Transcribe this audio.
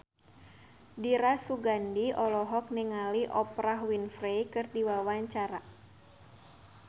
Dira Sugandi olohok ningali Oprah Winfrey keur diwawancara